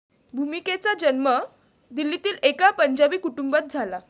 भूमिकेचा जन्म दिल्लीतील एका पंजाबी कुटुंबात झाला.